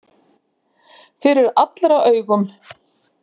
Fyrir allra augum!